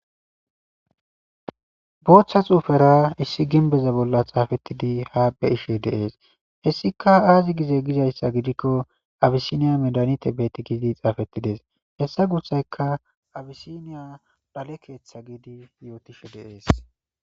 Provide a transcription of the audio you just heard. Booththa xuufera issi ginbeza bolla xaafettidi ha be ishe deees hessika aazi gize gizayssa gidikko abisiniya medanite beti gidi xaafettides hessa gussayka abisiniya dhale keeththa giidi yootishe deees.